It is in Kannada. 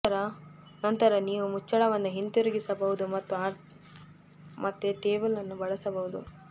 ನಂತರ ನೀವು ಮುಚ್ಚಳವನ್ನು ಹಿಂತಿರುಗಿಸಬಹುದು ಮತ್ತು ಮತ್ತೆ ಟೇಬಲ್ ಅನ್ನು ಬಳಸಬಹುದು